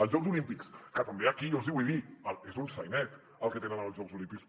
els jocs olímpics que també aquí jo els hi vull dir és un sainet el que tenen amb els jocs olímpics